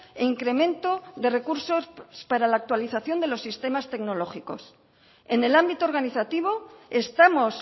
e incremento de recursos para la actualización de los sistemas tecnológicos en el ámbito organizativo estamos